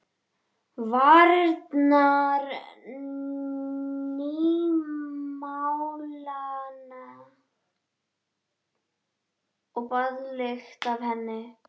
Varirnar nýmálaðar og baðlykt af henni.